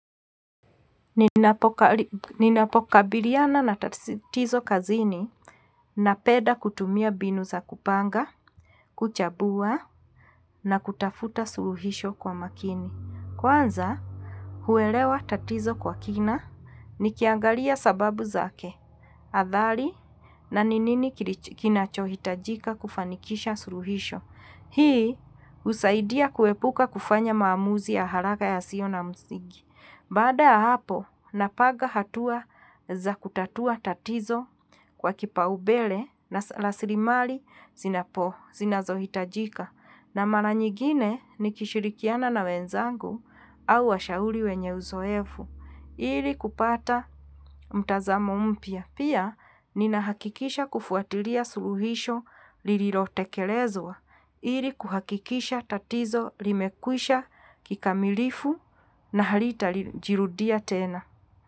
Ninapokabiliana na tatizo kazini napenda kutumia mbinu za kupanga, kuchambua na kutafuta suluhisho kwa makini. Kwanza, huelewa tatizo kwa kina, nikiangalia sababu zake, athari na ni nini kinachohitajika kufanikisha suluhisho. Hii, husaidia kuepuka kufanya maamuzi ya haraka yasio na msigi. Baada ya hapo, napanga hatua za kutatua tatizo kwa kipaumbele na raslimali zinazohitajika. Na mara nyigine nikishirikiana na wenzangu au washauri wenye uzoefu, ili kupata mtazamo mpya. Pia ninahakikisha kufuatilia suluhisho lililotekelezwa ili kuhakikisha tatizo limekwisha kikamilifu na halitajirudia tena.